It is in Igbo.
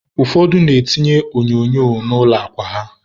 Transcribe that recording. ụfọdụ na-etinye onyonyo na ụlọ akwa ha.